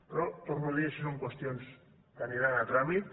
però ho torno a dir això són qüestions que aniran a tràmit